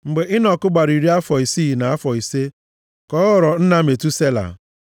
Mgbe Enọk gbara iri afọ isii na afọ ise ka ọ ghọrọ nna Metusela.